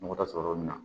Nɔgɔ da sɔrɔ yɔrɔ min na